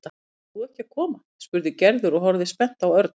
Ætlar þú ekki að koma? spurði Gerður og horfði spennt á Örn.